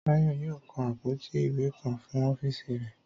Táyọ̀ yóò kan àpótí ìwé kan fún ọ́fíìsì rẹ̀